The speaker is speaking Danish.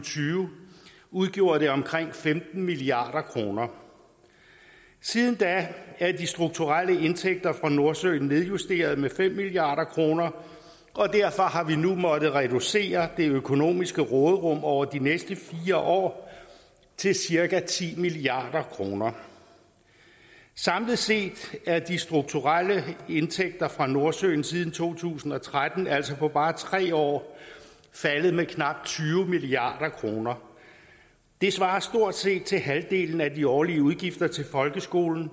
tyve udgjorde det omkring femten milliard kroner siden da er de strukturelle indtægter fra nordsøen nedjusteret med fem milliard kroner derfor har vi nu måttet reducere det økonomiske råderum over de næste fire år til cirka ti milliard kroner samlet set er de strukturelle indtægter fra nordsøen siden to tusind og tretten altså på bare tre år faldet med knapt tyve milliard kroner det svarer stort set til halvdelen af de årlige udgifter til folkeskolen